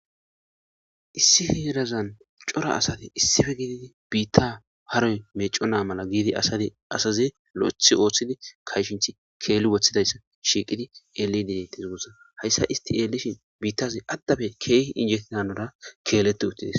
Isdi heerazan cora asati isdipe gididi biita haroy meevinna mala giidi asazi lo'eththi oothidi kayshethi keelli wothidaysa shiiqidi xeelidi deetees guusako. Haysa izeti qasse xeellishin biitazi aadappe keehippe injetida hanora keeleti uttidees.